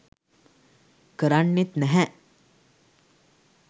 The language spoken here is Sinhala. කරන්නෙත් නැහැ.